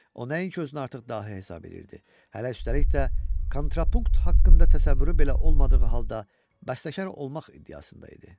O nəinki özünü artıq dahi hesab edirdi, hələ üstəlik də kontrapunkt haqqında təsəvvürü belə olmadığı halda bəstəkar olmaq iddiasında idi.